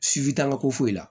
Sifin t'an ka ko foyi la